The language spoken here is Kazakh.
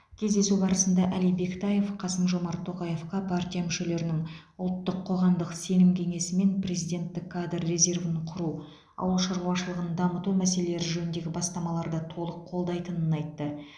кездесу барысында әли бектаев қасым жомарт тоқаевқа партия мүшелерінің ұлттық қоғамдық сенім кеңесі мен президенттік кадр резервін құру ауыл шаруашылығын дамыту мәселелері жөніндегі бастамаларды толық қолдайтынын айтты